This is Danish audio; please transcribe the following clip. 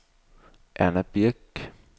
Erna Birk